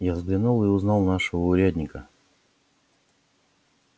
я взглянул и узнал нашего урядника